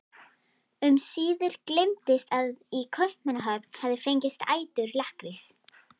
Um síðir gleymdist að í Kaupmannahöfn hafði fengist ætur lakkrís.